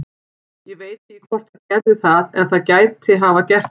Ég veit ekki hvort það gerði það en það gæti hafa gert það.